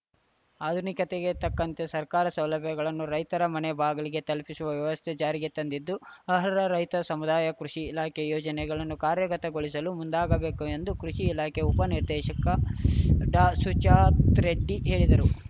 ಆಧುನಿಕತೆಗೆ ತಕ್ಕಂತೆ ಸರ್ಕಾರ ಸೌಲಭ್ಯಗಳನ್ನು ರೈತರ ಮನೆ ಬಾಗಿಲಿಗೆ ತಲುಪಿಸುವ ವ್ಯವಸ್ಥೆ ಜಾರಿಗೆ ತಂದಿದ್ದು ಅಹರ್ಹ ರೈತ ಸಮುದಾಯ ಕೃಷಿ ಇಲಾಖೆ ಯೋಜನೆಗಳನ್ನು ಕಾರ್ಯಗತಗೊಳಿಸಲು ಮುಂದಾಗಬೇಕು ಎಂದು ಕೃಷಿ ಇಲಾಖೆ ಉಪ ನಿರ್ದೇಶಕ ಡಾಸುಜಾತರೆಡ್ಡಿ ಹೇಳಿದರು